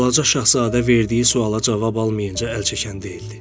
Balaca Şahzadə verdiyi suala cavab almayınca əl çəkən deyildi.